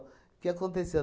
O que aconteceu?